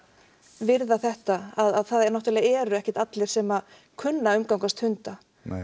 virða þetta að það er náttúrulega eru ekkert allir sem að kunna að umgangast hunda